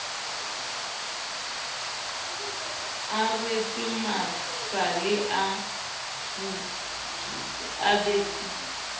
a rwetse masale a fubedu